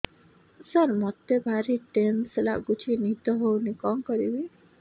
ସାର ମତେ ଭାରି ଟେନ୍ସନ୍ ଲାଗୁଚି ନିଦ ହଉନି କଣ କରିବି